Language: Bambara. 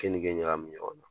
Keninke ɲagamin ɲɔgɔn na